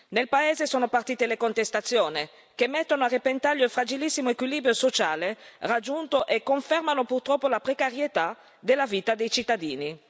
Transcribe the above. Nel paese sono partite le contestazioni, che mettono a repentaglio il fragilissimo equilibrio sociale raggiunto e confermano purtroppo la precarietà della vita dei cittadini.